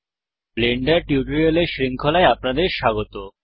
Blender টিউটোরিয়ালের শৃঙ্খলায় আপনাদের স্বাগত